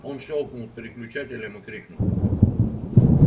он щёлкнул переключателем и крикнул